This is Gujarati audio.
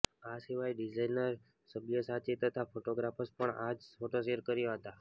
આ સિવાય ડિઝાઈનર સબ્યાસાચી તથા ફોટોગ્રાફર્સે પણ આ જ ફોટો શૅર કર્યાં હતાં